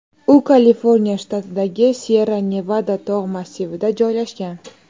U Kaliforniya shtatidagi Syerra-Nevada tog‘ massivida joylashgan.